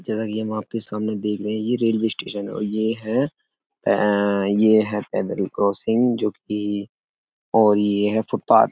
जैसा कि हम आपके सामने देख रहे हैं ये रेलवे स्टेशन है और ये है ये है पैदल क्रॉसिंग जो कि और ये है फुटपाथ --